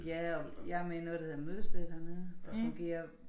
Ja og jeg med i noget der hedder mødestedet hernede der fungerer